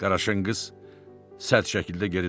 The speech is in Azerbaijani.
Qaraşın qız sərt şəkildə geri dönür.